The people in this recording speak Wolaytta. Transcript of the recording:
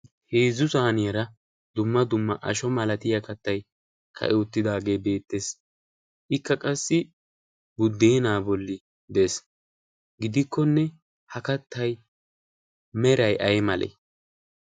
heezzu saaniyaara dumma dumma asho malatiya kattai ka7i uttidaagee beettees. ikka qassi buddeenaa bolli de7ees. gidikkonne ha kattai merai ai male?